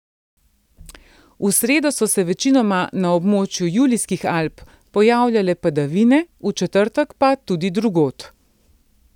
V sredo so se večinoma na območju Julijskih Alp pojavljale padavine, v četrtek pa tudi drugod.